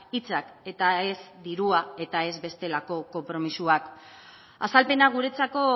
hitzak eta ez dirua eta ez bestelako konpromisoak azalpena guretzako